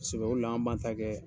Sɛbɛ ko de la, an b'an ta kɛ